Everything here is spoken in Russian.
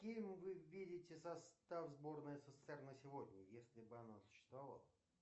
каким вы видите состав сборной ссср на сегодня если бы она существовала